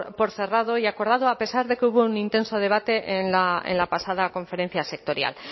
por cerrado y acordado a pesar de que hubo un intenso debate en la pasada conferencia sectorial